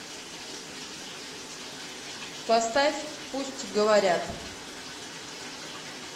поставь пусть говорят